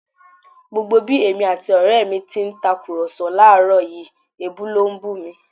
Gbogbo bí èmi àti ọrẹ mi ti ń tàkùrọ̀sọ láàrọ̀ yìí, èébú ló ń bú mi